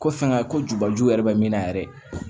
Ko fɛn ka ko jubaju yɛrɛ be min na yɛrɛ